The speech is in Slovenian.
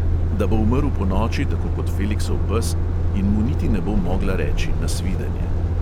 Da bo umrl ponoči tako kot feliksov pes in mu niti ne bo mogla reči nasvidenje ...